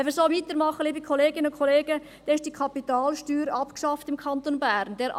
Wenn wir so weitermachen, ist die Kapitalsteuer im Kanton Bern abgeschafft.